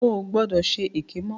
O ò gbọdọ̀ ṣe èké mọ́.